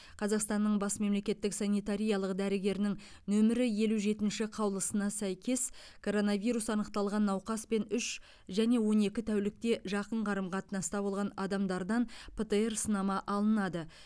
қазақстанның бас мемлекеттік санитариялық дәрігерінің нөмірі елу жетінші қаулысына сәйкес коронавирус анықталған науқаспен үш және он екі тәулікте жақын қарым қатынаста болған адамдардан птр сынама алынады